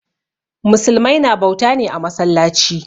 Musulmai na bauta ne a masallaci.